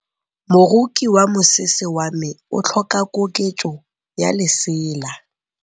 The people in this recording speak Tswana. Moroki wa mosese wa me o tlhoka koketsô ya lesela.